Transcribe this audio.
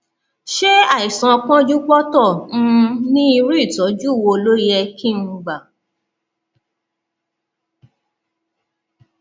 ṣé àìsàn pọnjúpọntọ um ni irú ìtọjú wo ló yẹ kí n um gbà